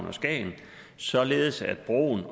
og skagen således at broen